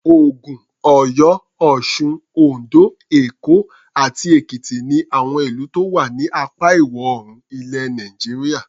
Ògùn, Ọ̀yọ́, Ọ̀sun, Oǹdó, Èkó àti Èkìtì ni àwọn ìlú tó wà ní apá Ìwọ̀-oòrùn ilẹ̀ Nàìjíríà.